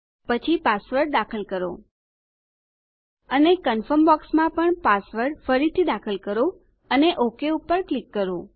પછી પાસવર્ડ દાખલ કરો અને કન્ફર્મ બોક્સમાં પણ પાસવર્ડ ફરીથી દાખલ કરો અને ઓક ઉપર ક્લિક કરો